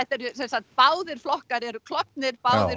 eru sem sagt báðir flokkar eru klofnir báðir